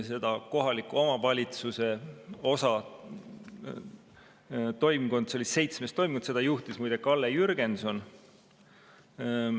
Seda kohaliku omavalitsuse osa arutas seitsmes toimkond, mida juhtis muide Kalle Jürgenson.